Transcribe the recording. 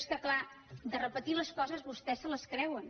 és que clar de repetir les coses vostès se les creuen